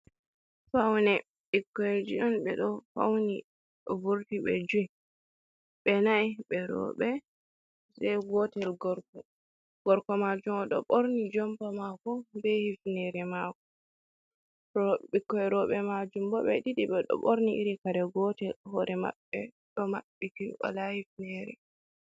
Faune ɓikkoi ji on ɓe ɗo fauni ɗo vurti be jui ɓe nai ɓe roɓɓe gotel gorko, gorko majum oɗo ɓorni jompa mako be hifnere mako ro ɓikoi roɓɓe majum bo ɓe ɗiɗi ɓe ɗo ɓorni iri kare gotel hore maɓɓe ɗo maɓɓiti wala hifnere.